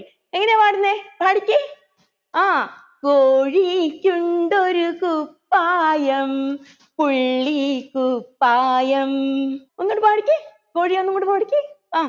എങ്ങനെയാ പാടുന്നെ പാടിക്കെ ആ കോഴിക്കുണ്ടൊരു കുപ്പായം പുള്ളിക്കുപ്പായം ഒന്നുടെ പാടിക്കെ കോഴിയെ ഒന്നൂടെ പാടിക്കെ ആ